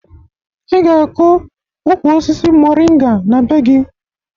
Ị ga-akụ ukwu osisi moringa na be gị